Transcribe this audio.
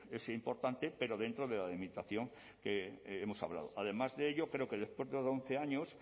es importante pero dentro de la delimitación que hemos hablado además de ello creo que después de once años